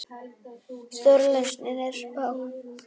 Stóra lausnin er smá!